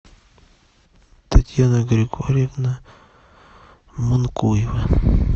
татьяна григорьевна манкуева